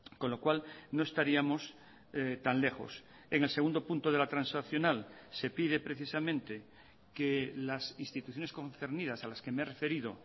con lo cual no estaríamos tan lejos en el segundo punto de la transaccional se pide precisamente que las instituciones concernidas a las que me he referido